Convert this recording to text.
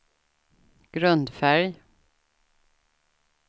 grundfärg